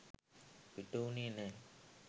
පිට වුණේ නැහැ.